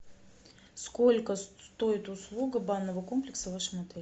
сколько стоит услуга банного комплекса в вашем отеле